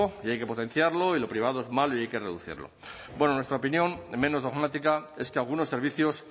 y hay que potenciarlo y lo privado es malo y hay que reducirlo bueno nuestra opinión en menos dogmática es que algunos servicios